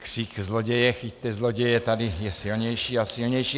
Křik zloděje, chyťte zloděje je tady silnější a silnější.